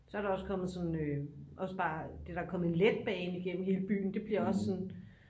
så er der også kommet sådan også bare der er kommet en letbane gennem hele byen det bliver også bare sådan